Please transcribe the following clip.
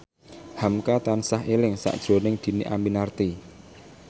hamka tansah eling sakjroning Dhini Aminarti